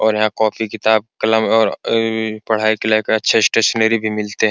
और यहां पे कॉपी किताब कलम और पढ़ाई अच्छी स्टेशनरी भी मिलते हैं।